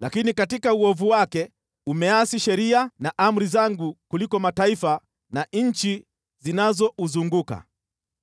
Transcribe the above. Lakini katika uovu wake umeasi sheria na amri zangu kuliko mataifa na nchi zinazouzunguka.